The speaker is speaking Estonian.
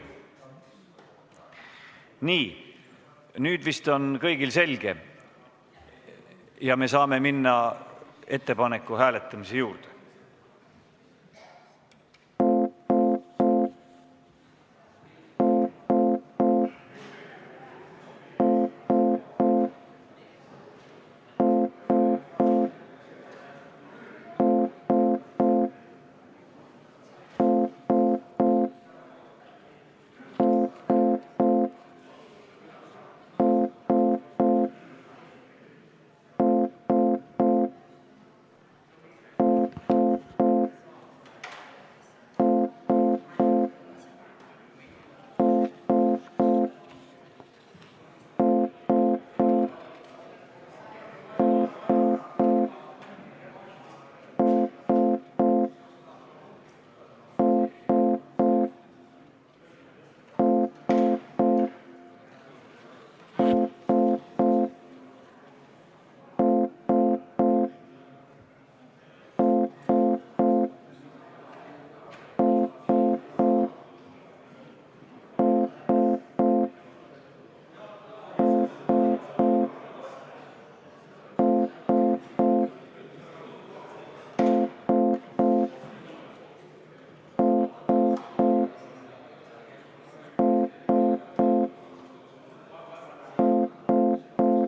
Nii, nüüd vist on kõigil selge ja me saame minna ettepaneku hääletamise juurde.